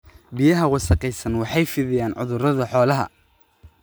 Biyaha wasakhaysan waxay fidiyaan cudurrada xoolaha.